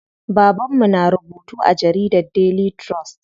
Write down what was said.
Baban mu na rubutu a jaridar Daily trust.